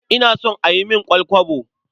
Ina so a yi min ƙwal-kwabo.